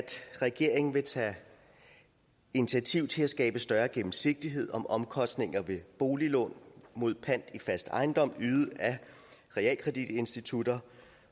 regeringen vil tage initiativ til at skabe større gennemsigtighed om omkostninger ved boliglån mod pant i fast ejendom ydet af realkreditinstitutter